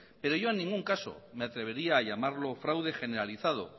pero yo en ningún caso me atrevería a llamarlo fraude generalizado